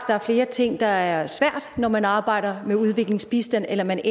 der er flere ting der er svære når man arbejder med udviklingsbistand eller man